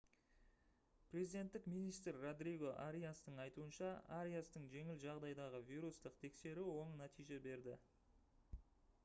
президенттік министр родриго ариастың айтуынша ариастың жеңіл жағдайдағы вирустық тексеруі оң нәтиже берді